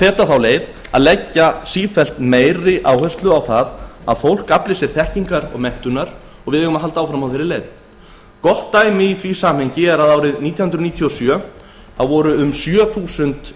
fetað þá leið að leggja sífellt meiri áherslu á að fólk afli sér þekkingar og menntunar og við eigum að halda því áfram gott dæmi í því samhengi er að árið nítján hundruð níutíu og sjö voru um sjö þúsund